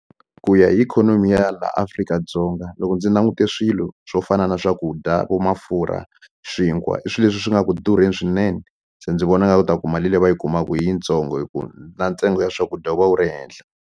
Ku ya hi ikhonomi ya laha Afrika-Dzonga loko ndzi langute swilo swo fana na swakudya vo mafurha swinkwa i swilo leswi swi nga ku durheni swinene se ndzi vona nga ku ta ku mali leyi va yi kumaka yi yitsongo hi ku na ntsengo ya swakudya wu va wu ri henhla.